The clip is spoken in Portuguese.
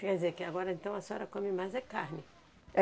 Quer dizer, que agora então a senhora come mais é carne.